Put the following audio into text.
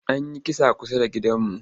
An yi kisa a kusa da gidanmu.